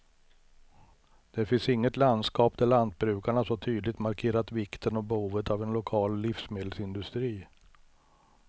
Det finns inget landskap där lantbrukarna så tydligt markerat vikten och behovet av en lokal livsmedelsindustri.